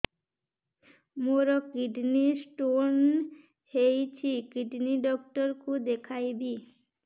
ମୋର kidney stone ହେଇଛି kidney doctor କୁ ଦେଖାଇବି